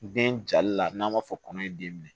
Den jali la n'an b'a fɔ kɔnɔ ye den minɛ